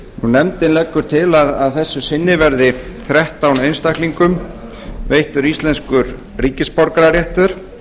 nefndin leggur til að þessu sinni verði þrettán einstaklingum veittur íslenskur ríkisborgararéttur